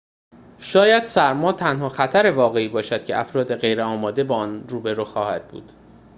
شاید سرما تنها خطر واقعی باشد که افراد غیرآماده با آن روبرو خواهد بود